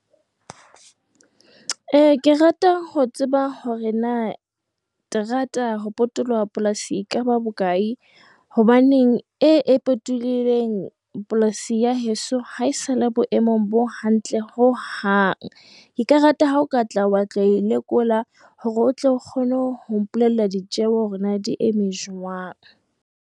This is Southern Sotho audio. , Ke rata ho tseba hore na terata ho potolloha polasi e ka ba bokae hobane e potollohileng polasi ya heso ha e sa le boemong bo hantle ho hang. Ke ka rata ha o ka tla wa tlo e lekola hore o tle o kgone ho mpolella ditjeho hore na di eme jwang.